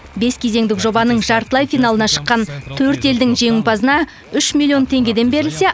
бес кезеңдік жобаның жартылай финалына шыққан төрт елдің жеңімпазына үш миллион теңгеден берілсе